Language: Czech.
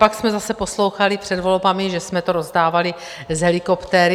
Pak jsme zase poslouchali před volbami, že jsme to rozdávali z helikoptéry.